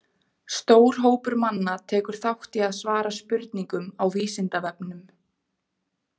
Stór hópur manna tekur þátt í að svara spurningum á Vísindavefnum.